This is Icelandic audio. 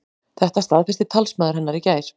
Þetta staðfesti talsmaður hennar í gær